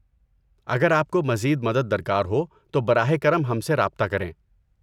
اگر آپ کو مزید مدد درکار ہو تو براہ کرم ہم سے رابطہ کریں۔